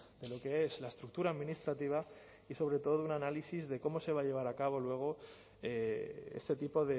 de lo que es la estructura administrativa y sobre todo un análisis de cómo se va a llevar a cabo luego este tipo